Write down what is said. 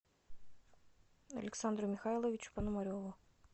александру михайловичу пономареву